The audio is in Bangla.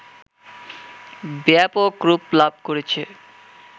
ব্যাপক রূপ লাভ করেছে